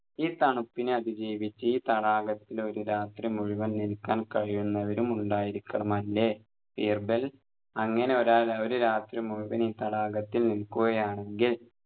ഈ തണുപ്പിനെ അതിജീവിച്ച് ഈ തടാകത്തിൽ ഒരു രാത്രി മുഴുവൻ നിൽക്കാൻ കഴിയുന്നവരും ഉണ്ടായിരിക്കണമല്ലേ ബീർബൽ അങ്ങനെ ഒരാൾ ഒരു രാത്രി മുഴുവൻ ഈ തടാകത്തിൽ നിൽക്കുകയാണെങ്കിൽ